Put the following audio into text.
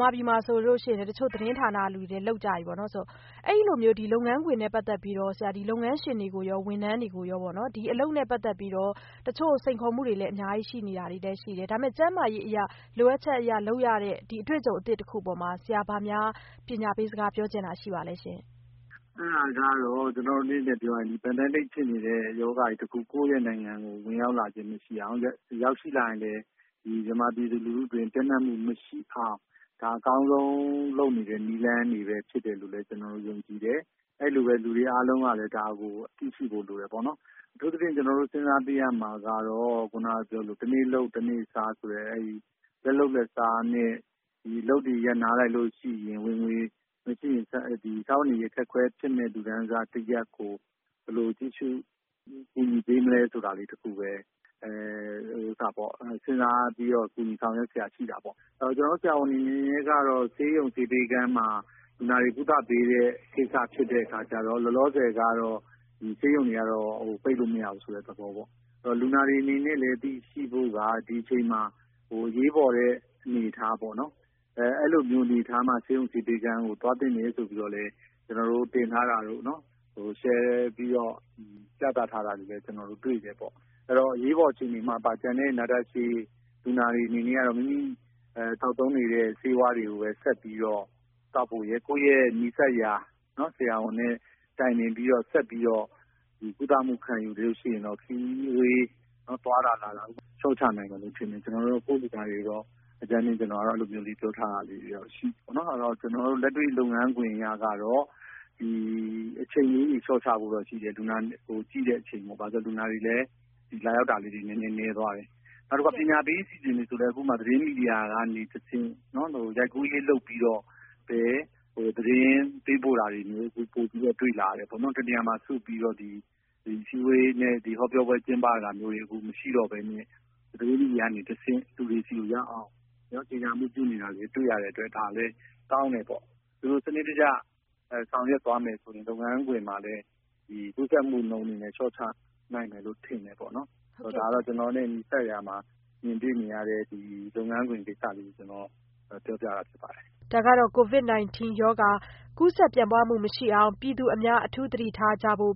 မာပြည်မှာဆိုရင်လည်း တချို့ သတင်းဌာနတွေလည်း လုပ်နေကြပြီပေါ့နော်။ အဲလိုမျိုး လုပ်ငန်းခွင်နဲ့ ပတ်သက်ပြီးတော့ လုပ်ငန်းရှင်တွေကိုရော ဝန်ထမ်းတွေကိုရော ဒီအလုပ်နဲ့ ပတ်သက်ပြီးတော့ တချို့ စိန်ခေါ်မှုတွေလည်း အများကြီးရှိနေတာလည်း ရှိတယ် ။ ဒါပေမယ့် ကျန်းမာရေးအရ လိုအပ်ချက်အရ လုပ်ရတဲ့ ဒီအတွေ့အကြုံအသစ်တခုအပေါ်မှာ ဆရာဘာများ ပညာပေးစကားပြောချင်တာ ရှိပါသလဲ။ ဒေါက်တာမိုးအောင်ကျော်နိုင်။ ။ အဲဒါကတော့ pandemic ဖြစ်နေတဲ့ ရောဂါတခုက ကိုယ့်နိုင်ငံကို ဝင်ရောက်လာခြင်းမရှိအောင် ၊ ရောက်ရှိလာတယ်ဆိုရင်လည်း မြန်မာပြည်သူလူထု အတွင်းပျံ့နှံ့မှုမရှိအောင် ဒါက အကောင်းဆုံးလုပ်နေတဲ့ နည်းလမ်းတွေဖြစ်တယ်ဆိုတာ ကျနော်တို့ ယုံကြည်တယ်။ အဲလိုပဲ လူတွေအားလုံးကလည်း ဒါကို သိရှိဖို့ လိုတယ်ပေါ့နော်။ အထူးသဖြင့် ကျနော်တို့ စဉ်းစားပေးရမှာကတော့ တနေ့လုပ်တနေ့စား လက်လုပ်လက်စားနဲ့ အလုပ်ရပ်နားလိုက်ရင် ဝင်ငွေမရှိရင် စားဝတ်နေရေး အခက်အခဲဖြစ်မယ့် လူတန်းစားတရပ်ကို ဘယ်လိုကြည့်ရှု ကူညီပေးမလဲဆိုတာလေးတခုပဲ စဉ်းစားပြီးတော့ ကူညီဆောင်ရွက်စရာရှိတာပေါ့။ ကျနော်တို့ ဆရာဝန်တွေ အနေနဲ့ကတော့ ဆေးရုံဆေးပေးခန်းမှာ လူနာတွေကို ဆေးကုသပေးတဲ့ ကိစ္စဖြစ်တဲ့အခါကျတော့ လောလောဆည်ကတော့ ဆေးရုံတွေကတော့ ပိတ်လို့မရဘူးဆိုတဲ့ သဘောပေါ့။ အဲဒီတော့ လူနာတွေအနေနဲ့ကလည်း သိရှိဖို့က ဒီအချိန်မှာ အရေးပေါ်အနေအထား ပေါ့နော် အဲလိုမျိုးအနေအထားမှာ ဆေးရုံ၊ ဆေးပေးခန်းတွေကို သွားသင့်တယ်ဆိုတာကို ကျနော်တို့ တင်ထားတာတို့ ၊ share ပြီးတော့ ပြသထားတာတို့လည်း ကျနော်တို့ တွေ့တယ်ပေါ့နော်။ အဲဒီတော့ အရေးပေါ်အခြေအနေမှာ နာတာရှည်လူနာတွေအနေနဲ့ကတော့ မိမိသောက်သုံးနေတဲ့ ဆေးဝါးတွေကို ဆက်ပြီးတော့ သောက်ဖို့ရယ်၊ ကိုယ့်ရဲ့ နီးစပ်ရာ ဆရာဝန်နဲ့ တိုင်ပင်ပြီးတော့ ဆက်ပြီးတော့ ကုသမှု ခံယူရင်တော့ ခရီးဝေးသွားတာလာတာတွေလည်း လျှော့ချဖို့ပေါ့နော် ကျနော်ကတော့ ကိုယ့်လူနာတွေကိုတော့ အကြမ်းဖျင်း အဲလိုလေး ပြောထားတာတော့ရှိပါတယ်။ ကျနော်တို့ လက်တွေ့ လုပ်ငန်းခွင်အရတော့ အချိန်လေးတွေ လျှော့ချဖို့ရှိတယ်။ လူနာကြည့်တဲ့အချိန်လေးတွေ ဘာဖြစ်လို့လဲဆိုတော့ လူနာလာရောက်တာတွေလည်း နည်းသွားတယ် ။ နောက်ပြီးတော့ ပညာပေးအစီအစဉ်ဆိုရင်လည်း သတင်းမီဒီယာကနေတဆင့် ရိုက်ကူးရေးလုပ်ပြီးတော့ပဲ သတင်းပေးပို့တာတွေပိုပြီးတော့ တွေ့လာတယ်ပေါ့နော်။ တနေရာမှာ စုပြီးတော့ ဟောပြောပွဲ ကျင်းပတာတွေလည်း မရှိတော့ပဲနဲ့ သတင်းမီဒီယာကနေတဆင့် လူတွေဆီရောက်အောင် ညွန်ကြားမှုပြုလုပ်နေတာတွေ တွေ့ရတဲ့အတွက် ဒါလည်း ကောင်းတယ်ပေါ့နော်။ ဒီလို စနစ်တကျ ဆောင်ရွက်သွားမယ်ဆိုရင် လုပ်ငန်းခွင်မှာလည်း ကူးစက်မှုနှုန်းတွေ လျှော့ချနိုင်မယ်လို့ ထင်တယ်ပေါ့နော်။ ဒါကတော့ ကျနော်နဲ့ နီးစပ်ရာမှာ ကြုံတွေ့နေရတဲ့ လုပ်ငန်းခွင် ကိစ္စလေးတွေ ကျနော်ပြောပြတာဖြစ်ပါတယ်။” ဒါကတော့ COVID 19 မကူးစက်ခံရအောင် ပြည်သူအများ အထူးသတိထားကြဖို့